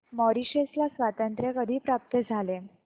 Mauritius ला स्वातंत्र्य कधी प्राप्त झाले